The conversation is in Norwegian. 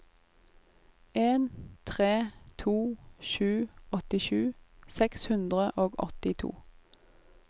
en tre to sju åttisju seks hundre og åttito